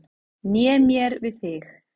Né mér við þig.